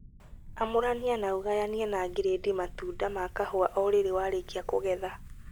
Amũrania na ugayanie na giredi matunda ma kahũa o rĩrĩ warĩkia kũgetha